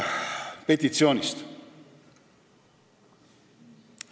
Petitsioonist.